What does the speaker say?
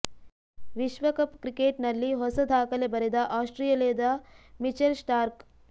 ವಿಶ್ವಕಪ್ ಕ್ರಿಕೆಟ್ ನಲ್ಲಿ ಹೊಸ ದಾಖಲೆ ಬರೆದ ಆಸ್ಟ್ರೇಲಿಯಾದ ಮಿಚೆಲ್ ಸ್ಟಾರ್ಕ್